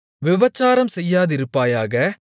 விபசாரம் செய்யாதிருப்பாயாக